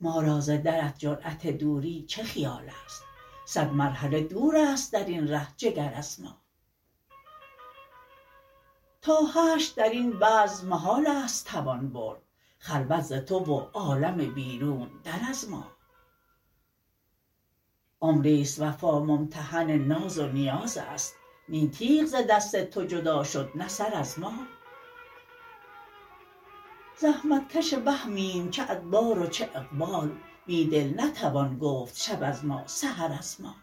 ما را ز درت جرأت دوری چه خیال است صد مرحله دوراست درین ره جگراز ما تا حشر درین بزم محال است توان برد خلوت زتو و عالم بیرون در از ما عمری ست وفا ممتحن ناز و نیاز است نی تیغ ز دست تو جدا شد نه سر از ما زحمتکش وهمیم چه ادبار و چه اقبال بیدل نتوان گفت شب از ما سحر از ما